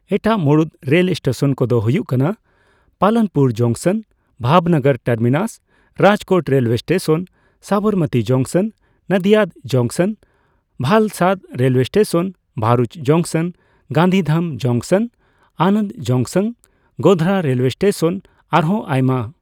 ᱮᱴᱟᱜ ᱢᱩᱲᱩᱫ rail station ᱠᱚᱫᱚ ᱦᱳᱭᱳᱜ ᱠᱟᱱᱟ Palanpur junction, Bhavnagar terminus, Rajkot railway station, Sabarmati junction, Nadiad junction, Valsad railway station, Bharuch junction, Gandhidham junction, Anand junction, Godhra railway station ᱟᱨᱦᱚᱸ ᱟᱭᱢᱟ ᱾